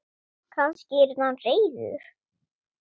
Kannski yrði hann reiður?